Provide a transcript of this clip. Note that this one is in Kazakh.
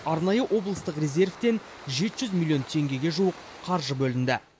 арнайы облыстық резервтен жеті жүз миллон теңгеге жуық қаржы бөлінді